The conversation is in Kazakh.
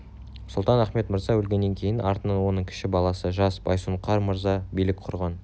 сұлтан-ахмет мырза өлгеннен кейін артынан оның кіші баласы жас байсұңқар мырза билік құрған